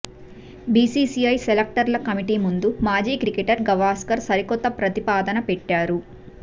BCCI సెలక్టర్ల committee ముందు మాజీ క్రికెటర్ గవస్కర్ సరికొత్త ప్రతిపాదన పెట్టారు